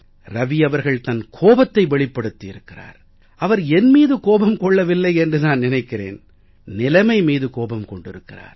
ரவி அவர்கள் தன் கோபத்தை வெளிப்படுத்தி இருக்கிறார் அவர் என் மீது கோபம் கொள்ளவில்லை என்று நான் நினைக்கிறேன் நிலைமை மீது கோபம் கொண்டிருக்கிறார்